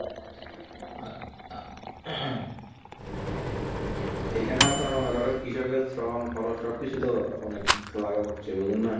এই খানেও আপনার মনে করেন কৃষকের শ্রম খরচ সব কিছু তো অনেক লাগাতে হচ্ছে ওই জন্যে